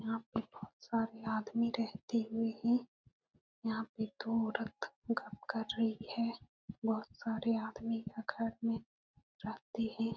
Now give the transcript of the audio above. यहाँ पे बोहोत सारे आदमी रहते हुए हैं। यहाँ पे दो औरत गप कर रही है। बोहोत सारे आदमी यहाँ घर में रहते हैं।